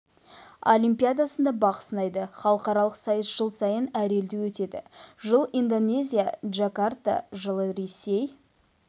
олимпиадасында бақ сынайды халықаралық сайыс жыл сайын әр елде өтеді жылы индонезия джакарта жылы ресей